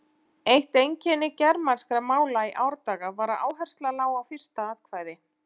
Eitt einkenni germanskra mála í árdaga var að áhersla lá á fyrsta atkvæði.